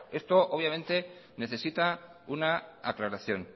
esto obviamente necesita una aclaración